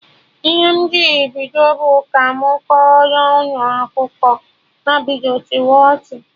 Ihe m jiri bido bụ "ka mụ kọrọ unu akụkọ" ha bido chịwa ọchị